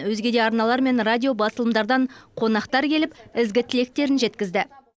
өзге де арналар мен радио басылымдардан қонақтар келіп ізгі тілектерін жеткізді